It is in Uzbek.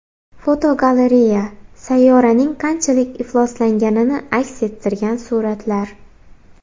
Fotogalereya: Sayyoraning qanchalik ifloslanganini aks ettirgan suratlar.